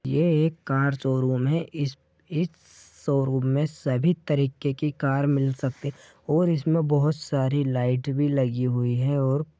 ये एक car showroom है इस स-स शोरूम में सभी तरह के कार मिल सकती है और इसमें बहुत सारी लाइट भी लगी हुए है और--